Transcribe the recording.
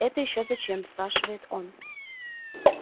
это ещё зачем спрашивает он